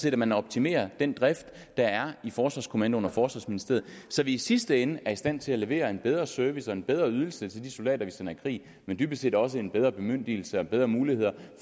at man optimerer den drift der er i forsvarskommandoen og forsvarsministeriet så vi i sidste ende er i stand til at levere en bedre service og en bedre ydelse til de soldater vi sender i krig men dybest set også en bedre bemyndigelse og bedre muligheder